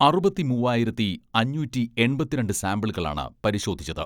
അറുപത്തിമൂവ്വായിരത്തി അഞ്ഞൂറ്റി എൺപത്തിരണ്ട് സാമ്പിളുകളാണ് പരിശോധിച്ചത്.